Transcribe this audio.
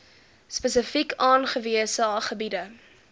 spesifiek aangewese gebiede